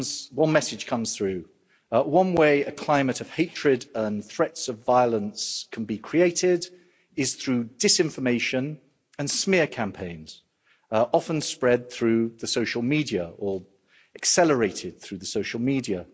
one message comes through one way a climate of hatred and threats of violence can be created is through disinformation and smear campaigns, often spread through the social media or accelerated through the social media.